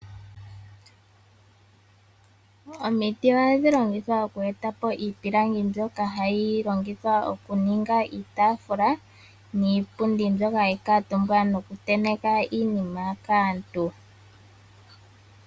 Omiti ohadhi longitha oku eta po iipilangi mbyoka hayi longithwa okuninga iitafula, niipundi mbyoka hayi kaatumbwa nokutenteka iinima kaantu.